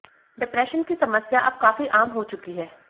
depression की समस्या अब काफी आम हो चुकी है